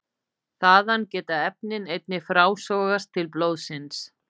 Þaðan geta efnin einnig frásogast til blóðsins.